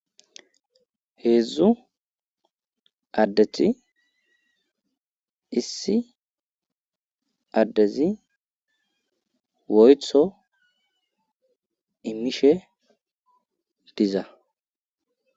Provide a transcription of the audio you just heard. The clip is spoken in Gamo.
heedzdzu addeti issi addezi woyto imishe diza